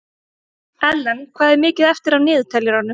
Ellen, hvað er mikið eftir af niðurteljaranum?